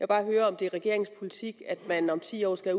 bare høre om det er regeringens politik at man om ti år skal